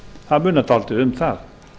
það munar dálítið um það